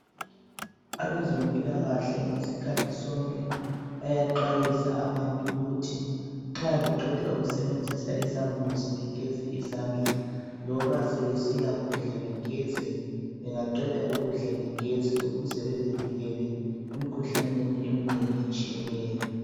Abezempilakahle ngesikhathi sonke, bayaxwayisa abantu ukuthi nxa beqeda ukusebenzisa izambuzi begeze izandla. Loba sebesiyakudla begeze. Bangaqeda ukudla, begeze, ukuze bazivikele emikhuhlaneni eminengi, etshiyeneyo.